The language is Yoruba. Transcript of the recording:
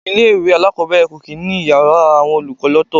Ilé-ìwé alakobere kò kì í ní Ìyàrá àwọn olùkọ́ lọ́to.